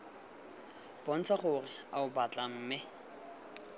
bontsha gore oa batla mme